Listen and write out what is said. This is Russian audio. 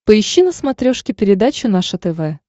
поищи на смотрешке передачу наше тв